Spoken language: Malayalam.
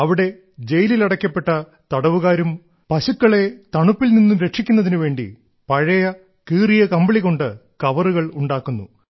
അവിടെ ജയിലിൽ അടയ്ക്കപ്പെട്ട തടവുകാർ പശുക്കളെ തണുപ്പിൽ നിന്നും രക്ഷിക്കുന്നതിനു വേണ്ടി പഴയ കീറിയ കമ്പിളി കൊണ്ട് കവറുകൾ ഉണ്ടാക്കുന്നു